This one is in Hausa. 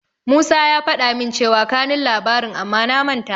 Musa ya faɗa min cewa kanun labarin amma na manta.